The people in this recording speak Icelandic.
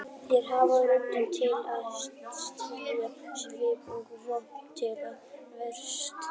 Þeir hafa rödd til að tjá sig og vopn til að verjast.